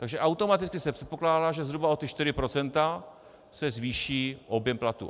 Takže automaticky se předpokládá, že zhruba o 4 % se zvýší objem platů.